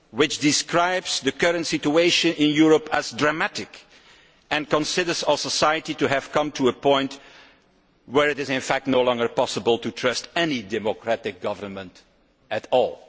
It describes the current situation in Europe as disastrous and considers our society to have come to a point where it is fact no longer possible to trust any democratic government at all.